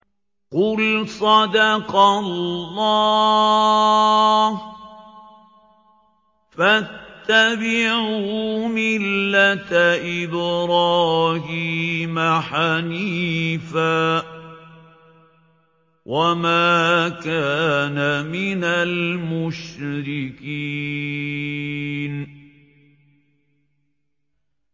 قُلْ صَدَقَ اللَّهُ ۗ فَاتَّبِعُوا مِلَّةَ إِبْرَاهِيمَ حَنِيفًا وَمَا كَانَ مِنَ الْمُشْرِكِينَ